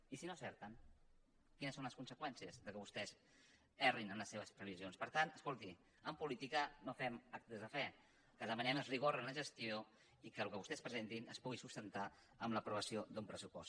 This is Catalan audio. i si no en·certen quines són les conseqüències que vostès errin en les seves previsions per tant escolti en política no fem actes de fe el que demanem és rigor en la gestió i que el que vostès pre·sentin es pugui sustentar amb l’aprovació d’un pres·supost